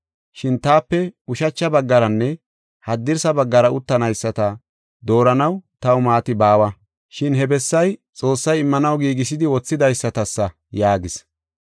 Shin taape ushacha baggaranne haddirsa baggara uttanayisata dooranaw taw maati baawa, shin he bessay Xoossay immanaw giigisidi wothidaysatasa” yaagis.